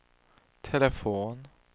telefon